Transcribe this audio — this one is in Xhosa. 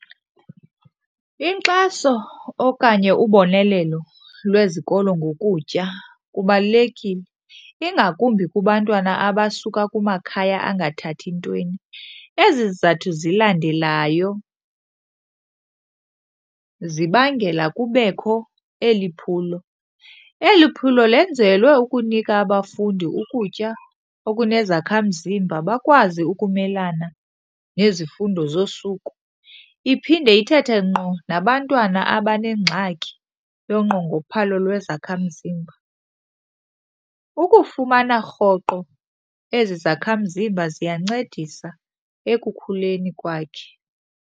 Inkxaso okanye ubonelelo lwezikolo ngokutya kubalulekile, ingakumbi kubantwana abasuka kumakhaya angathathi ntweni. Ezi zizathu zilandelayo zibangela kubekho eli phulo. Eli phulo lenzelwe ukunika abafundi ukutya okunezakhamzimba bakwazi ukumelana nezifundo zosuku, iphinde ithethe ngqo nabantwana abanengxaki yonqongophalo lwezakhamzimba. Ukufumana rhoqo ezi zakhamzimba ziyancedisa ekukhuleni kwakhe.